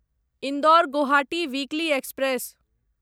Indore Guwahati weekly express